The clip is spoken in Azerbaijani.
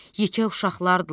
yekə uşaqlardırlar.